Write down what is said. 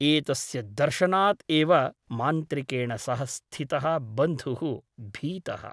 एतस्य दर्शनात् एव मान्त्रिकेण सह स्थितः बन्धुः भीतः ।